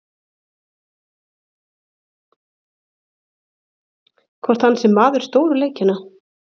Hvort hann sé maður stóru leikjanna?